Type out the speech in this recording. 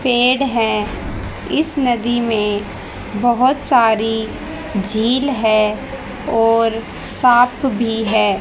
पेड़ है इस नदी में बहोत सारी झील है और सांप भी है।